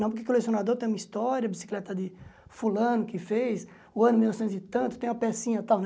Não porque colecionador tem uma história, bicicleta de fulano que fez, o ano mil novecentos e tanto, tem uma pecinha tal.